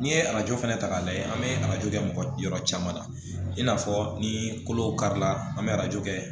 N'i ye arajo fɛnɛ ta k'a lajɛ an bɛ arajo kɛ mɔgɔ yɔrɔ caman na i n'a fɔ ni kolo karila an bɛ arajo kɛ